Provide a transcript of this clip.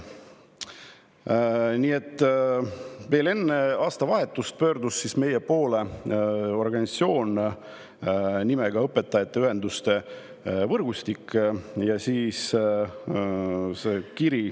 Enne aastavahetust pöördus meie poole organisatsioon nimetusega õpetajate ühenduste võrgustik.